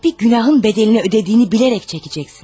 Bir günahın bədəlini ödədiyini bilərək çəkəcəksən.